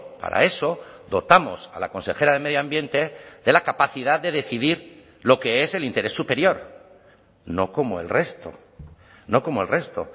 para eso dotamos a la consejera de medio ambiente de la capacidad de decidir lo que es el interés superior no como el resto no como el resto